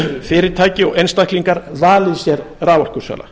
fyrirtæki og einstaklingar valið sér raforkusala